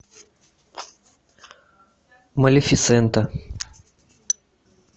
малефисента